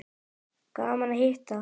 Gaman að hitta